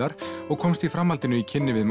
og komst í framhaldinu í kynni við